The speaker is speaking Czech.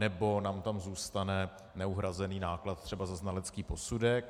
Nebo nám tam zůstane neuhrazený náklad třeba za znalecký posudek.